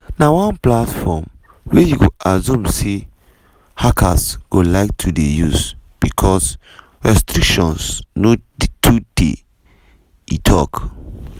na one platform wey you go assume say hackers go like to dey use bicos restrictions no too dey" e tok.